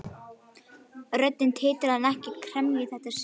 Röddin titraði en ekki af gremju í þetta sinn.